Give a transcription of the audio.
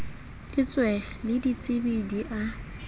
etswe le ditsebi di a